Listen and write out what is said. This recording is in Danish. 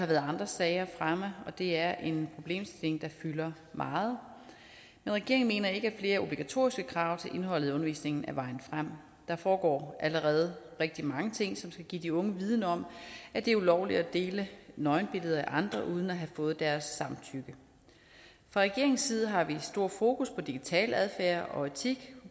været andre sager fremme og det er en problemstilling der fylder meget men regeringen mener ikke at flere obligatoriske krav til indholdet af undervisningen er vejen frem der foregår allerede rigtig mange ting som skal give de unge viden om at det er ulovligt at dele nøgenbilleder af andre uden at have fået deres samtykke fra regeringens side har vi stor fokus på digital adfærd og etik